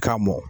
Ka mɔ